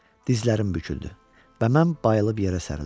Dizlərim büküldü və mən bayılıb yerə sərildim.